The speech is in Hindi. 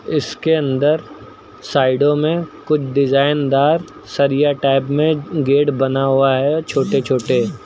इसके अंदर साइडों में कुछ डिजाइनदार सरिया टाइप में गेड बना हुआ है छोटे छोटे।